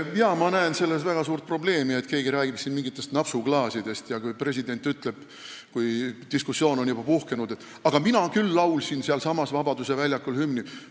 Jaa, ma näen väga suurt probleemi selles, kui keegi räägib siin mingitest napsuklaasidest, ja ka presidendi ütluses, kui diskussioon on juba puhkenud, et mina küll laulsin sealsamas Vabaduse väljakul hümni.